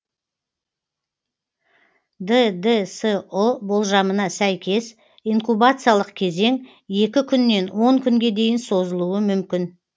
ддсұ болжамына сәйкес инкубациялық кезең екі күннен он күнге дейін созылуы мүмкін